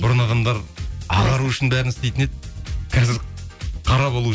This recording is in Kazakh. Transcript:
бұрын адамдар ағару үшін бәрін істейтін еді қазір қара болу